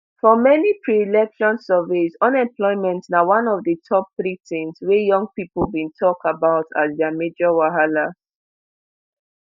for many preelection surveys unemployment na one of di top three tins wey young pipo bin tok about as dia major wahala